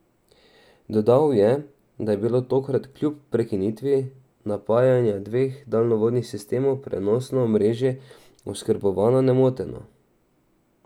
Dodal je, da je bilo tokrat kljub prekinitvi napajanja dveh daljnovodnih sistemov prenosno omrežje oskrbovano nemoteno.